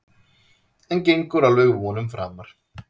En gengur alveg vonum framar.